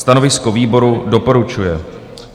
Stanovisko výboru: doporučuje.